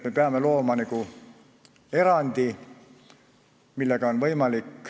Me peame looma erandi.